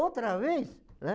Outra vez, né?